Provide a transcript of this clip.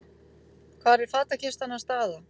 Hvar er fatakistan hans Daða?